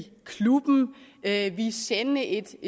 klubben at ville sende et